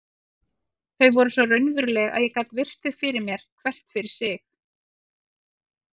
Þau voru svo raunveruleg að ég gat virt þau fyrir mér hvert fyrir sig.